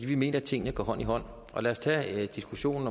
vi mener at tingene går hånd i hånd lad os tage diskussionen